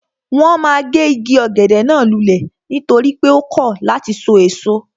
Wọ́n ma gé igi ọ̀gẹ̀dẹ̀ náà lulẹ̀ nítorí pé ó kọ̀ láti sọ èso